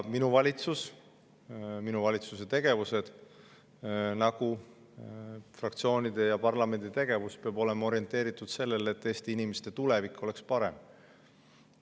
Minu valitsuse tegevused nagu ka fraktsioonide ja parlamendi tegevus peavad olema orienteeritud sellele, et Eesti inimeste tulevik oleks parem.